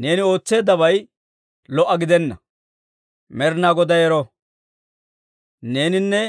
Neeni ootseeddabay lo"a gidenna. Med'inaa Goday ero! Neeninne